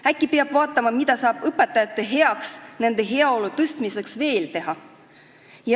Äkki peaks vaatama, mida saab õpetajate heaks, nende heaolu parandamiseks veel teha.